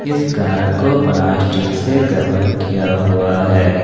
इस कार को प्लास्टिक से कवर किया हुआ है।